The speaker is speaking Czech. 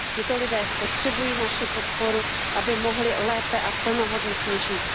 Tito lidé potřebují naši podporu, aby mohli lépe a plnohodnotně žít.